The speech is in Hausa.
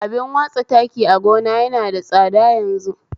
Abin watsa taki a gona yana da tsada yanzu